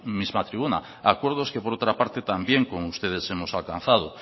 misma tribuna acuerdos que por otra parte también con ustedes hemos alcanzado